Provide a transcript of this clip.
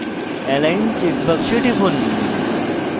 align check box টিপুন